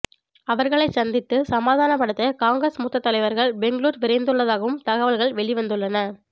அவர்களை சந்தித்து சமாதானப்படுத்த காங்கிரஸ் மூத்த தலைவர்கள் பெங்களூர் விரைந்து உள்ளதாகவும் தகவல்கள் வெளிவந்துள்ளன